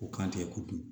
O kan tɛ ko dun